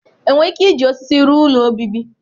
Enwere ike iji osisi rụọ ụlọ obibi?